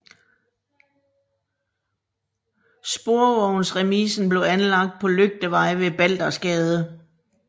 Sporvognsremisen blev anlagt på Lygtevej ved Baldersgade